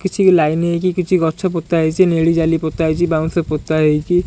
କିଛି ଲାଇନ୍ ହେଇକି କିଛି ଗଛ ପୋତା ହେଇଛି ନେଳି ଜାଲି ପୋତା ହେଇଛି ବାଉଁଶ ପୋତା ହେଇଛି।